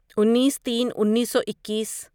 انیس تین انیسو اکیس